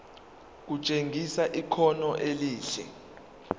kutshengisa ikhono elihle